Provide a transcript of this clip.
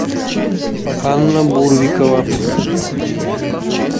анна бурвикова